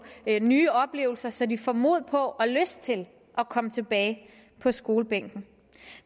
nye oplevelser så de får mod på og lyst til at komme tilbage på skolebænken